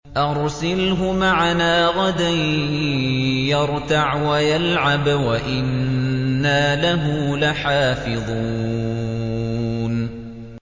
أَرْسِلْهُ مَعَنَا غَدًا يَرْتَعْ وَيَلْعَبْ وَإِنَّا لَهُ لَحَافِظُونَ